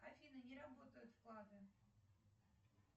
афина не работают вклады